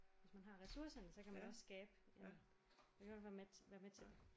Hvis man har ressourcerne så kan man også skabe i hvert fald mæt være med til det